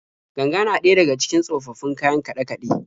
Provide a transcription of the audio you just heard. Ganga na daya daga cikin tsofaffin kayan kaɗe-kaɗe.